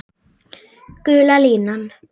Gula línan.